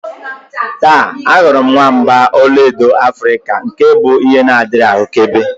Taa, ahụrụ m nwamba ọlaedo Africa nke bụ ihe na-adịghị ahụkebe